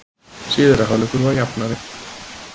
Síðari hálfleikur var jafnari